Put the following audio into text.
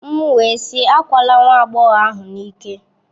M wee sị, akwala nwa agbọghọ ahụ n'ike!